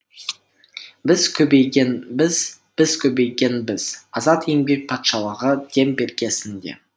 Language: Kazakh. біз көбейгенбіз біз көбейгенбіз азат еңбек патшалығы дем бергесін де